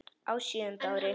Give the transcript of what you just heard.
Á sjöunda ári